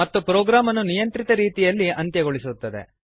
ಮತ್ತು ಪ್ರೋಗ್ರಾಮನ್ನು ನಿಯಂತ್ರಿತ ರೀತಿಯಲ್ಲಿ ಅಂತ್ಯಗೊಳಿಸುತ್ತದೆ